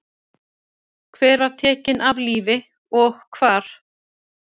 Hver var tekin af lífi og hvar?